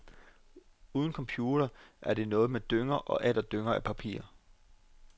Uden computer er det noget med dynger og atter dynger af papirer.